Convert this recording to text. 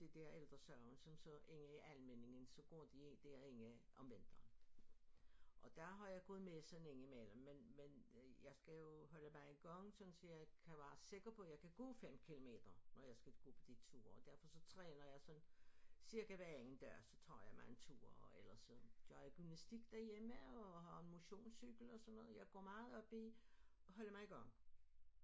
Det dér Ældre Sagen som så inde i Almindingen så går de ikke derinde om vinteren og der har jeg gået med sådan indimellem men men jeg skal jo holde mig i gang sådan så jeg kan være sikker på jeg kan gå 5 kilometer når jeg skal gå på de ture og derfor så træner jeg sådan cirka hver anden dag så tager jeg mig en tur og ellers så gør jeg gymnastik derhjemme og har motionscykel og sådan noget jeg går meget op i at holde mig i gang